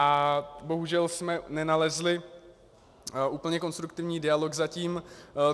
A bohužel jsme nenalezli úplně konstruktivní dialog zatím.